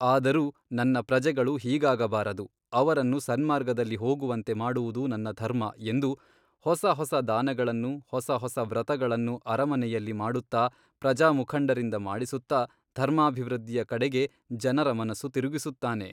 ಆದರೂ ನನ್ನ ಪ್ರಜೆಗಳು ಹೀಗಾಗಬಾರದು ಅವರನ್ನು ಸನ್ಮಾರ್ಗದಲ್ಲಿ ಹೋಗುವಂತೆ ಮಾಡುವುದು ನನ್ನ ಧರ್ಮ ಎಂದು ಹೊಸ ಹೊಸ ದಾನಗಳನ್ನು ಹೊಸ ಹೊಸ ವ್ರತಗಳನ್ನು ಅರಮನೆಯಲ್ಲಿ ಮಾಡುತ್ತಾ ಪ್ರಜಾಮುಖಂಡರಿಂದ ಮಾಡಿಸುತ್ತಾ ಧರ್ಮಾಭಿವೃದ್ಧಿಯ ಕಡೆಗೆ ಜನರ ಮನಸ್ಸು ತಿರುಗಿಸುತ್ತಾನೆ.